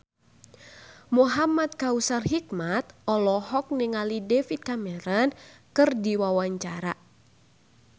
Muhamad Kautsar Hikmat olohok ningali David Cameron keur diwawancara